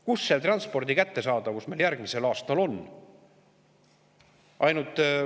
Kus see transpordi kättesaadavus meil järgmisel aastal on?